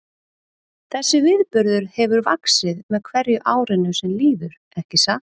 Þessi viðburður hefur vaxið með hverju árinu sem líður, ekki satt?